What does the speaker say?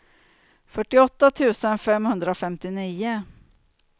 fyrtioåtta tusen femhundrafemtionio